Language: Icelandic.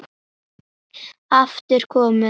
aftur komið á.